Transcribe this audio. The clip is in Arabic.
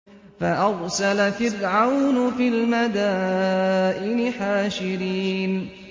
فَأَرْسَلَ فِرْعَوْنُ فِي الْمَدَائِنِ حَاشِرِينَ